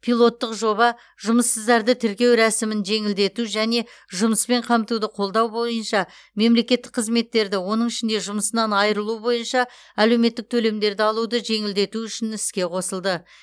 пилоттық жоба жұмыссыздарды тіркеу рәсімін жеңілдету және жұмыспен қамтуды қолдау бойынша мемлекеттік қызметтерді оның ішінде жұмысынан айрылу бойынша әлеуметтік төлемдерді алуды жеңілдету үшін іске қосылды